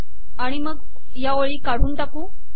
आणि मग या ओळी काढून टाकू